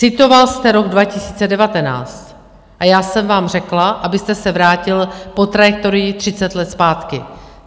Citoval jste rok 2019 a já jsem vám řekla, abyste se vrátil po trajektorii 30 let zpátky.